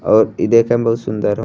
और ई देखे में बहुत सुन्दर ह।